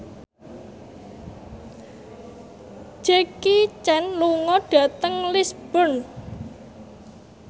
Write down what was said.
Jackie Chan lunga dhateng Lisburn